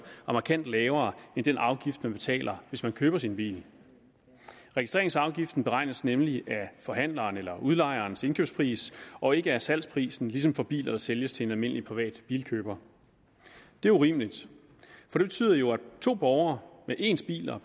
er markant lavere end den afgift man betaler hvis man køber sin bil registreringsafgiften beregnes nemlig af forhandlerens eller udlejerens indkøbspris og ikke af salgsprisen ligesom for biler der sælges til en almindelig privat bilkøber det er urimeligt for det betyder jo at to borgere med ens biler